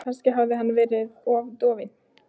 Kannski hafði hann verið of dofinn.